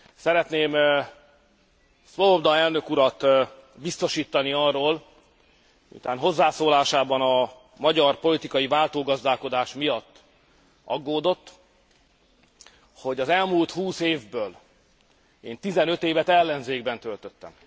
Szeretném Swoboda elnök urat biztosítani arról, miután hozzászólásában a magyar politikai váltógazdálkodás miatt aggódott, hogy az elmúlt húsz évből én tizenöt évet ellenzékben töltöttem.